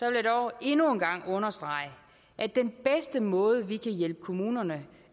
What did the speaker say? jeg dog endnu en gang understrege at den bedste måde vi kan hjælpe kommunerne